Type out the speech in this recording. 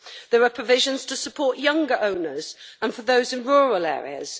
There are provisions to support younger owners and for those in rural areas.